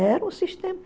Era um sistema.